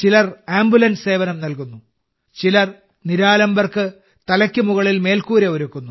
ചിലർ ആംബുലൻസ് സേവനം നൽകുന്നു ചിലർ നിരാലംബർക്ക് തലയ്ക്ക് മുകളിൽ മേൽക്കൂര ഒരുക്കുന്നു